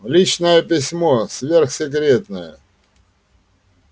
личное письмо сверхсекретное